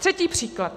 Třetí příklad.